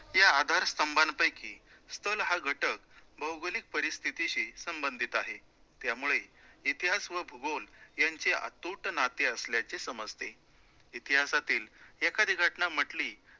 या आधार स्तंभापैकी स्थळ हा घटक भौगोलिक परिस्थितीशी संबंधित आहे, त्यामुळे इतिहास व भूगोल यांचे अतूट नाते असल्याचे समजते. इतिहासातील एखादी घटना म्हंटली